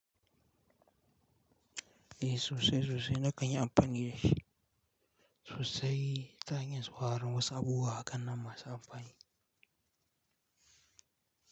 Eh sosai sosai na kanyi amfani da shi sosai ta hanyar sauraron wasu abubuwa hakan nan masu amfani.